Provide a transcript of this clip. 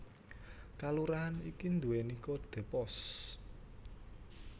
Kalurahan iki nduwèni kodhe pos